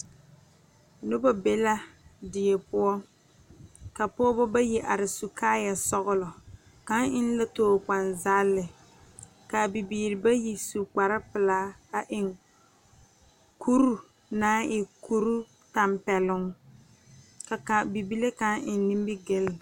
Noba be la die poɔ ka pɔgeba bayi are su kaaya sɔglɔ kaŋ eŋ la tokpane zagle kaa bibiiri bayi su kpare pelaa kuri naŋ e kuri tanpɛloŋ ka kaŋ bibile kaŋ eŋ nimigele.